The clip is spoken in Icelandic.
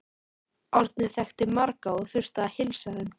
Árni þekkti marga og þurfti að heilsa þeim.